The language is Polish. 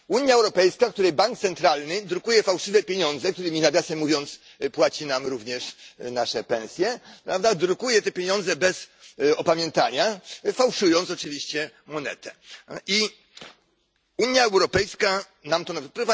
Unia Europejska, której bank centralny drukuje fałszywe pieniądze którymi nawiasem mówiąc płaci nam również nasze pensje drukuje te pieniądze bez opamiętania, fałszując oczywiście monetę, Unia Europejska nam to narzuca.